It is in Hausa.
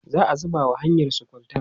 za'a zuba wa hanyarsu kwalta